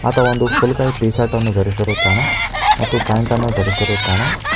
ಆತ ಒಂದು ಫುಲ್ ಕೈ ಟಿ ಶರ್ಟ್ ಅನ್ನು ಧರಿಸಿರುತ್ತಾನೆ ಮತ್ತು ಪ್ಯಾಂಟ್ ಅನ್ನು ಧರಿಸಿರುತ್ತಾನೆ .